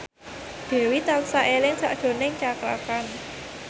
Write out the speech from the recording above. Dewi tansah eling sakjroning Cakra Khan